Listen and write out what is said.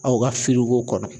Aw ka firiko kɔnɔ.